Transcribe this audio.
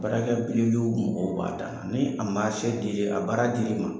Baarakɛ piri don mɔgɔw b'a dan na , ni a marisew a baara di l'i ma